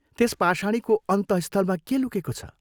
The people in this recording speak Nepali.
त्यस पाषाणीको अन्तःस्थलमा के लुकेको छ?